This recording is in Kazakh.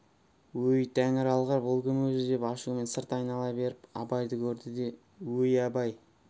өй тәңір алғыр бұл кім өзі деп ашумен сырт айнала беріп абайды көрді де өй абай